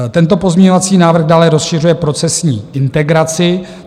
Tento pozměňovací návrh dále rozšiřuje procesní integraci.